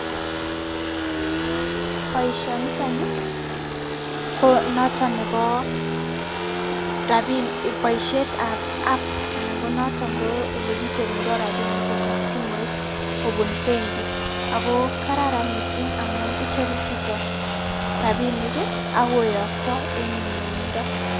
Boishoniton nii ko noton nebo rabinik boishetab app anan konoton ko elekicherundo rabinik kobun simoit kobun benki ak ko kararan mising amun icheru chito rabinik ak koyokto en nyumnyumindo.